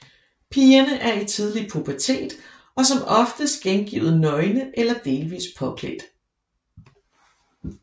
Pigerne er i tidlig pubertet og som oftest gengivet nøgne eller delvis påklædt